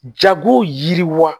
Jago yiriwa